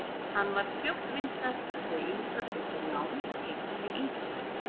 Hann varð fljótt vinsæll og þau Inga tóku lán og keyptu sér íbúð.